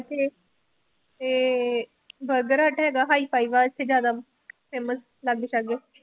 ਇੱਥੇ ਤੇ Burger Hut ਹੈਗਾ hi-fi ਵਾਸਤੇ ਜ਼ਿਆਦਾ famous ਲਾਗੇ ਸਾਗੇ